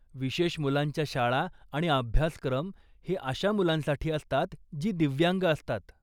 विशेष मुलांच्या शाळा आणि अभ्यासक्रम हे अशा मुलांसाठी असतात, जी दिव्यांग असतात.